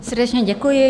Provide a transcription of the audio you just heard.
Srdečně děkuji.